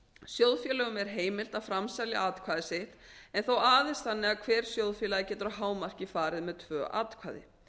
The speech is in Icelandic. sjóðfélögum er heimilt að framselja atkvæði sitt en þó aðeins þannig að hver sjóðfélagi getur að hámarki farið með tvö atkvæði